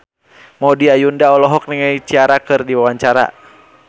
Maudy Ayunda olohok ningali Ciara keur diwawancara